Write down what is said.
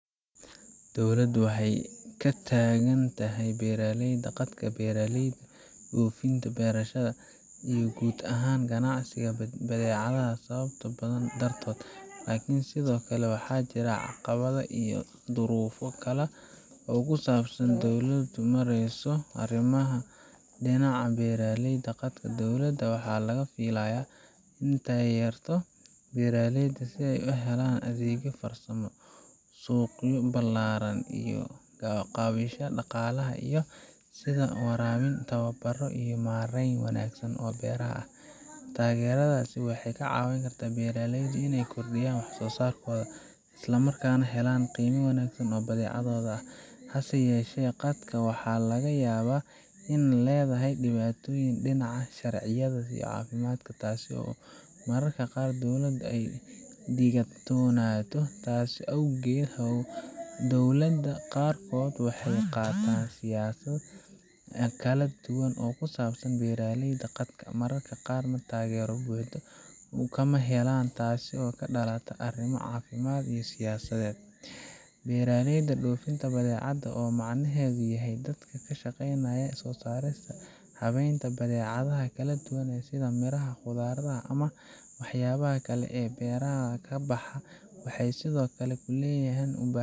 Dowladda waxay ka taagan tahay beeralayda qaadka, beeralayda dhofinta beerashada iyo guud ahaan ganacsatada badeecadaha sababo badan dartood, laakiin sidoo kale waxaa jira caqabado iyo duruufo kale oo ku saabsan sida ay dowladdu u maareyso arrimahan. Dhinaca beeralayda qaadka, dowladda waxaa laga filayaa inay taageerto beeralayda si ay u helaan adeegyo farsamo, suuqyo ballaaran, iyo kaabayaasha dhaqaalaha sida biyo waraabin, tababarro iyo maarayn wanaagsan oo beeraha ah. Taageeradaas waxay ka caawisaa in beeralaydu ay kordhiyaan wax-soo-saarkooda, isla markaana helaan qiime wanaagsan oo badeecadooda ah. Hase yeeshee, qaadka waxaa laga yaabaa inuu leeyahay dhibaatooyin dhinaca sharciyada iyo caafimaadka, taas oo mararka qaar dowladdu ka digtoonaato. Taas awgeed, dowladda qaarkood waxay qaataan siyaasad kala duwan oo ku saabsan beeralayda qaadka, mararka qaarna taageero buuxda kama helaan, taasoo ka dhalata arrimo caafimaad ama siyaasadeed. Beeralayda dhofinta badeecada, oo macnaheedu yahay dadka ka shaqeeya soo saarista iyo habeynta badeecadaha kala duwan sida miraha, khudradda, ama waxyaabaha kale ee beeraha ka baxa, waxay sidoo kale u baahan yihiin taageero dowladeed. Dowladdu waxay ka taagan tahay dhinacyada sida horumarinta suuqyada, ilaalinta tayada badeecada, iyo fududeynta helitaanka qalabka iyo teknoolojiyadda. Laakiin mararka qaar, taageeradaasi waxay ku xaddidan tahay kheyraadka dowladda, nidaamka siyaasadeed, iyo sidoo kale